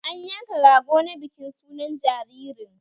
An yanka Rago na bikin sunan jiririn